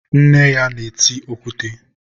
nne ya na-eti okwute.